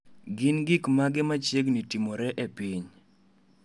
Gin gik mage machiegni timore e piny?